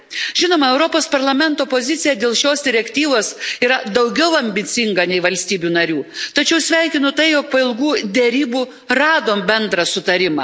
Žinoma, Europos Parlamento pozicija dėl šios direktyvos yra daugiau ambicinga nei valstybių narių, tačiau sveikinu tai, jog po ilgų derybų radom bendrą sutarimą.